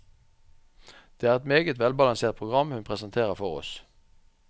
Det er et meget velbalansert program hun presenterer for oss.